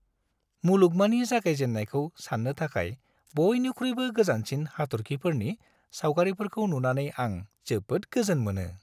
मुलुगमानि जागायजेन्नायखौ सान्नो थाखाय बयनिख्रुइबो गोजानसिन हाथर्खिफोरनि सावगारिफोरखौ नुनानै आं जोबोद गोजोन मोनो।